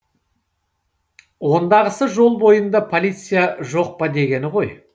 ондағысы жол бойында полиция жоқ па дегені ғой